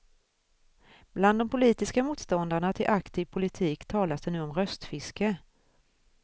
Bland de politiska motståndarna till aktiv politik talas det nu om röstfiske.